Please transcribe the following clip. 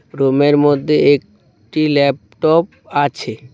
রুমের মদ্যে একটি ল্যাপটপ আছে।